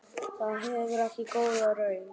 Það gefur ekki góða raun.